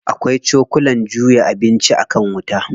Akwai cokulan juya abinci a kan wuta.